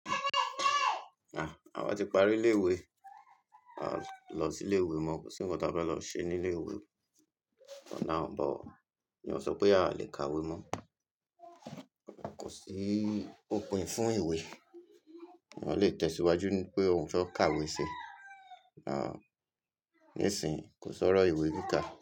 À, àwa ti parí ilé ìwé. A lọ sí ilé ìwé, mo kò sí ńkan ta fe lọ ṣe ní ilé ìwé. Ọ̀nà ààbò, iyen o sọ pé a lè kàwé mọ́. Kò sí òpin fún ìwé. Eeyan lè tẹ̀síwájú ń pé ohun fe kàwé ṣe. À, níìsín, kò ṣọ́ro ìwé kíkà.